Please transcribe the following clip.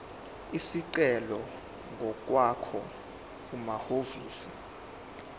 isicelo ngokwakho kumahhovisi